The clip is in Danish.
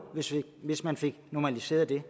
hvis hvis man får normaliseret det